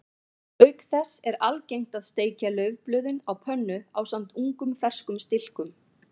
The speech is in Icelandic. Auk þess er algengt að steikja laufblöðin á pönnu ásamt ungum ferskum stilkum.